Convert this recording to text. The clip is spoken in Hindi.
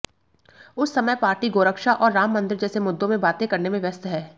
उस समय पार्टी गोरक्षा और राम मंदिर जैसे मुद्दों में बातें करने में व्यस्त हैं